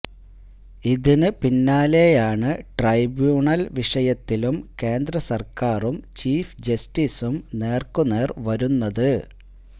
ഇതിന് പിന്നാലെയാണ് ട്രൈബ്യൂണല് വിഷയത്തിലും കേന്ദ്രസര്ക്കാരും ചീഫ് ജസ്റ്റിസും നേര്ക്കുനേര് വരുന്നത്